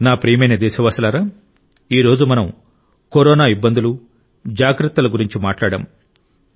నా ప్రియమైన దేశవాసులారా ఈ రోజు మనం కరోనా ఇబ్బందులు జాగ్రత్తల గురించి మాట్లాడాం